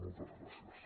moltes gràcies